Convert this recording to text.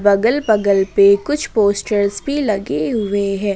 अगल बगल पे कुछ पोस्टर्स भी लगे हुए हैं।